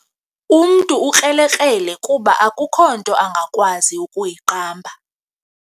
Umntu ukrelekrele kuba akukho nto angakwazi kuyiqamba.